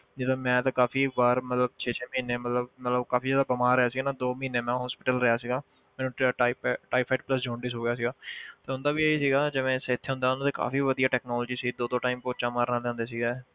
ਜਿੱਦਾਂ ਮੈਂ ਤੇ ਕਾਫ਼ੀ ਬਾਹਰ ਮਤਲਬ ਛੇ ਛੇ ਮਹੀਨੇ ਮਤਲਬ ਮਤਲਬ ਕਾਫ਼ੀ ਜ਼ਿਆਦਾ ਕਮਾ ਰਿਹਾ ਸੀਗਾ ਨਾ ਦੋ ਮਹੀਨੇ ਮੈਂ hospital ਰਿਹਾ ਸੀਗਾ ਮੈਨੂੰ ਟ~ ਟਾਇਫਾ~ ਟਾਇਫ਼ਾਇਡ plus jaundice ਹੋ ਗਿਆ ਸੀਗਾ ਤਾਂ ਉਹਨਾਂ ਦਾ ਵੀ ਇਹੀ ਸੀਗਾ ਜਿਵੇਂ ਇੱਥੇ ਹੁੰਦਾ ਉਹਨਾਂ ਦੇ ਕਾਫ਼ੀ ਵਧੀਆ technology ਸੀ ਦੋ ਦੋ time ਪੋਚਾ ਮਾਰਨ ਵਾਲੇ ਆਉਂਦੇ ਸੀਗੇ